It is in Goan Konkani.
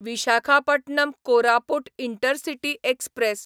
Visakhapatnam Koraput intercity express